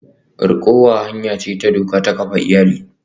Rikowa hanya ce ta doka ta kafa iyali.